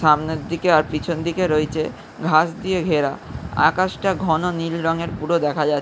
সামনে দিকে পিছন দিকে রয়েছে ঘাস দিয়ে ঘেরা। আকাশটা ঘন নীল রঙের পুর দেখা যা --